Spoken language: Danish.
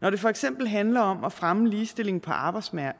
når det for eksempel handler om at fremme ligestilling på arbejdsmarkedet